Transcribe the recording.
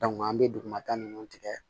an bɛ dugumata ninnu tigɛ